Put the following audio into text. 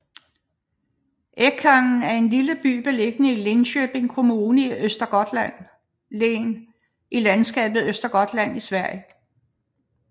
Ekängen er en lille by beliggende i Linköpings Kommune i Östergötlands län i landskabet Östergötland i Sverige